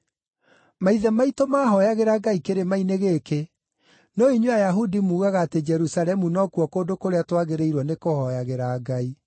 Maithe maitũ maahooyagĩra Ngai kĩrĩma-inĩ gĩkĩ, no inyuĩ Ayahudi muugaga atĩ Jerusalemu nokuo kũndũ kũrĩa twagĩrĩirwo nĩkũhooyagĩra Ngai.”